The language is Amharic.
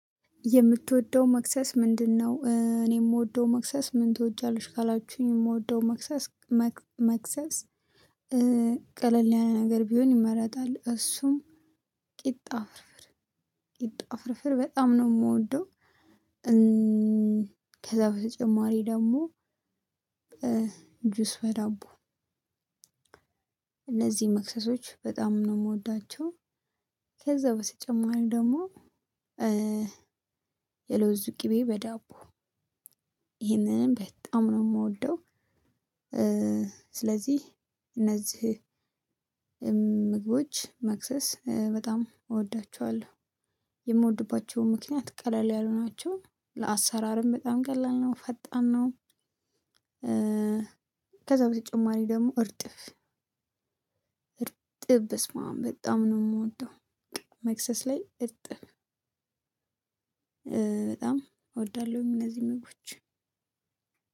የምትወደው መክሰስ ምንድነው? እኔ የምወደው መክሰስ ምን ትወጃለሽ ካላችሁኝ የምወደው መክሰስ መክሰስ ቀለል ያለ ነገር ቢሆን ይመረጣል እሱም ቂጣ ፍርፍር ቂጣ ፍርፍር በጣም ነው የምወደው። ከዛ በተጨማሪ ደግሞ ጁስ በዳቦ። እነዚህ መክሰሶች በጣም ነው የምወዳቸው። ከዛ በተጨማሪ ደግሞ የለውዝ ቅቤ በዳቦ ይህንንም በጣም ነው የምወደው። ስለዚህ እነዚህ ምግቦች መክሰስ በጣም እወዳቸዋለሁ። የምወድባቸው ምክንያት ቀለል ያሉ ናቸው ለአሰራርም በጣም ቀለል ነው ፈጣን ነው። ከዛ በተጨማሪ ደግሞ እርጥብ እርጥብ በስመአብ በጣም ነው ምወደው። በቃ መክሰስ ላይ እርጥብ በጣም ወዳለሁኝ እነዚህን ምግቦች።